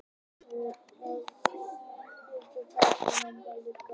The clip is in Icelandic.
Pabbi fór að hrista mig til og taka í mig og mamma líka.